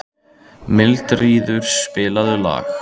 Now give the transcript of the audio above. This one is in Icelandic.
Mildríður, spilaðu lag.